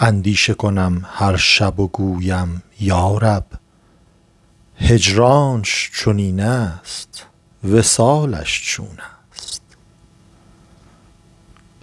اندیشه کنم هر شب و گویم یا رب هجرانش چنین است وصالش چون است